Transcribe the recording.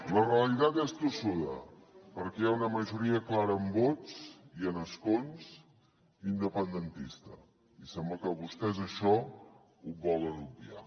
la realitat és tossuda perquè hi ha una majoria clara en vots i en escons independentista i sembla que vostès això ho volen obviar